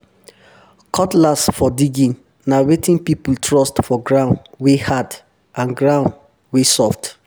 cutlass for digging na wetin person trust for ground wey hard and ground ground wey soft